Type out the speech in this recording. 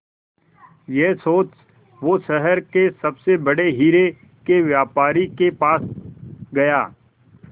यह सोच वो शहर के सबसे बड़े हीरे के व्यापारी के पास गया